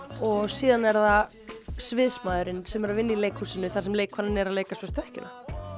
og síðan er það sem er að vinna í leikhúsinu þar sem leikkonan er að leika svörtu ekkjuna